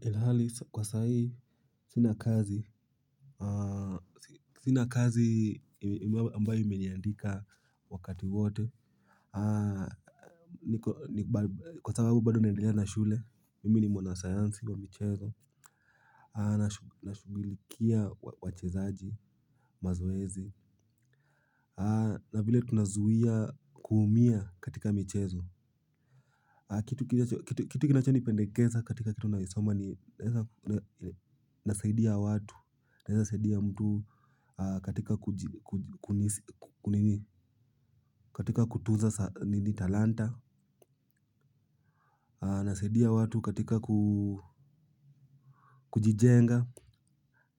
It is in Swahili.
Ilhali kwa sahi sina kazi. Sina kazi ambayo imeniandika wakati wote. Kwa sababu bado naendelea na shule, mimi ni mwanasayansi wa michezo. Nashugulikia wachezaji, mazoezi. Na vile tunazuia kuumia katika michezo. Kitu kinacho nipendekeza katika kitu nayosoma ni nasaidia watu, naezasaidia mtu katika kutunza nini talanta, nasaidia watu katika kujijenga.